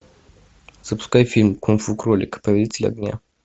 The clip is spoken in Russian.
запускай фильм кунг фу кролик повелитель огня